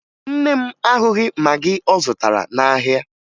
Nne m ahụghị magị ọ zụtara n'ahịa